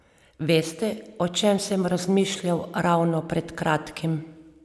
Veste, o čem sem razmišljal ravno pred kratkim?